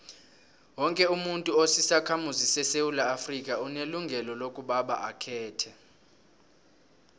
woke umuntu osisakhamuzi sesewula afrika unelungelo lokobaba akhethe